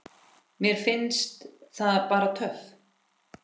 Mér finnst það bara töff.